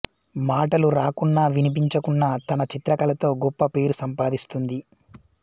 మాటలు రాకున్నా వినిపించకున్నా తన చిత్ర కళతో గొప్ప పేరు సంపాదిస్తుంది